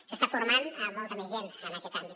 s’està formant molta més gent en aquest àmbit